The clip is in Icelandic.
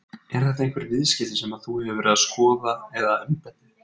Eru þetta einhver viðskipti sem að þú hefur verið að skoða eða embættið?